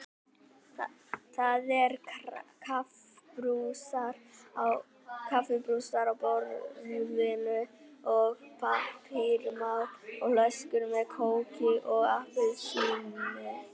Það eru kaffibrúsar á borðinu, pappamál og flöskur með kóki og appelsíni.